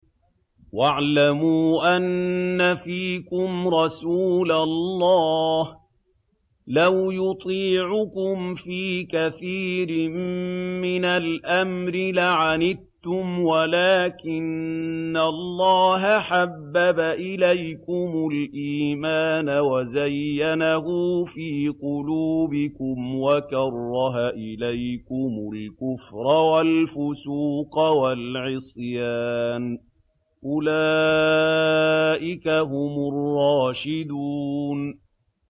وَاعْلَمُوا أَنَّ فِيكُمْ رَسُولَ اللَّهِ ۚ لَوْ يُطِيعُكُمْ فِي كَثِيرٍ مِّنَ الْأَمْرِ لَعَنِتُّمْ وَلَٰكِنَّ اللَّهَ حَبَّبَ إِلَيْكُمُ الْإِيمَانَ وَزَيَّنَهُ فِي قُلُوبِكُمْ وَكَرَّهَ إِلَيْكُمُ الْكُفْرَ وَالْفُسُوقَ وَالْعِصْيَانَ ۚ أُولَٰئِكَ هُمُ الرَّاشِدُونَ